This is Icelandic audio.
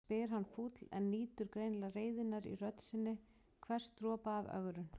spyr hann fúll en nýtur greinilega reiðinnar í rödd sinni, hvers dropa af ögrun.